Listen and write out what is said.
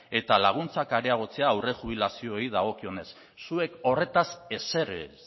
eta laguntzak areagotzea aurrejubilazioei dagokionez zuek horretaz ezer ez